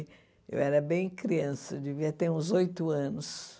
Eu era bem criança, devia ter uns oito anos.